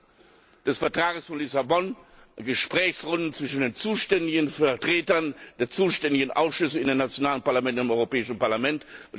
1 des Vertrags von Lissabon Gesprächsrunden zwischen den zuständigen Vertretern der zuständigen Ausschüsse in den nationalen Parlamenten und im Europäischen Parlament.